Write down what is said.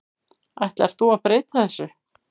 Ætlar þú að breyta þessu?